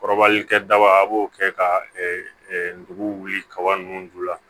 Kɔrɔbali kɛ daba a b'o kɛ ka nugu wuli kaba ninnu ju la